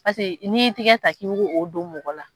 Paseke n'i i tigɛ ta k'i b'o o don mɔgɔ la.